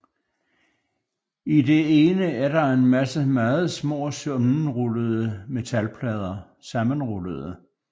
I det ene er der en masse meget små sammenrullede metalplader